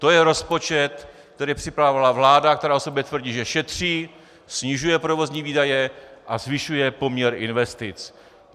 To je rozpočet, který připravovala vláda, která o sobě tvrdí, že šetří, snižuje provozní výdaje a zvyšuje poměr investic.